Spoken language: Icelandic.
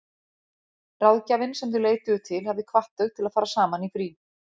Ráðgjafinn sem þau leituðu til hafði hvatt þau til að fara saman í frí.